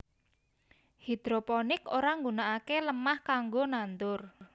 Hidroponik ora nggunakaké lemah kanggo nandur